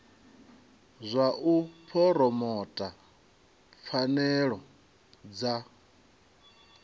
zwa u phuromotha pfanelo dza